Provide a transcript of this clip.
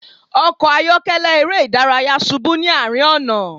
Ọkọ ayọkẹlẹ ere idaraya ṣubu ni arin ọna